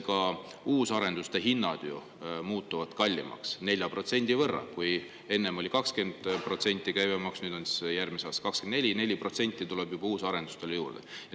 Ka uusarenduste hinnad muutuvad ju kallimaks 4% võrra: kui enne oli käibemaks 20%, siis järgmisel aastal on see 24%, nii et 4% tuleb juba uusarenduste hinnale juurde.